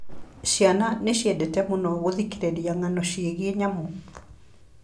Ciana nĩ ciendete mũno gũthikĩrĩria ng'ano ciĩgiĩ nyamũ.